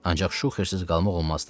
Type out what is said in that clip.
Ancaq şuxersiz qalmaq olmazdı.